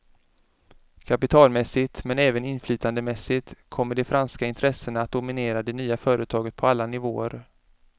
Kapitalmässigt, men även inflytandemässigt kommer de franska intressena att dominera det nya företaget på alla nivåer.